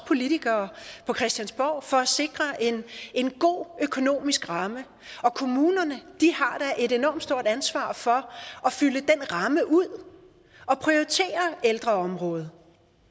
politikere på christiansborg for at sikre en god økonomisk ramme og kommunerne har da et enormt stort ansvar for at fylde den ramme ud og prioritere ældreområdet